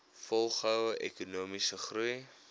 volgehoue ekonomiese groei